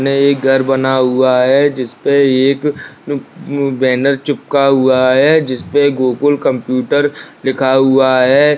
इसमें एक घर बना हुआ है जिस पे एक बैनर चिपका हुआ है जिस पर गोकुल कंप्यूटर लिखा हुआ है।